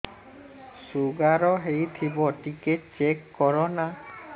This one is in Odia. ଶୁଗାର ହେଇଥିବ ଟିକେ ଚେକ କର ନା